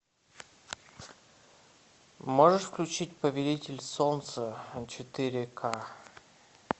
можешь включить повелитель солнца четыре ка